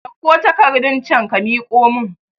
Ɗauko takarɗun can ka miƙo mun